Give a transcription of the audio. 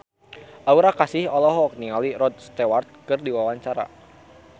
Aura Kasih olohok ningali Rod Stewart keur diwawancara